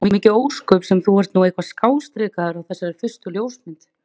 Og mikið ósköp sem þú ert nú eitthvað skástrikaður á þessari fyrstu ljósmynd.